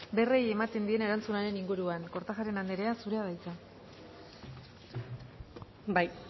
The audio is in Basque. berriei ematen dien erantzunaren inguruan kortajarena andrea zurea da hitza bai